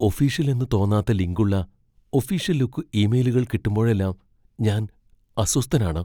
Official എന്ന് തോന്നാത്ത link ഉള്ള ഒഫീഷ്യൽ ലുക്ക് ഇമെയിലുകൾ കിട്ടുമ്പഴെല്ലാം ഞാൻ അസ്വസ്ഥനാണ്.